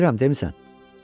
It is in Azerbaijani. Bilirəm, demisən.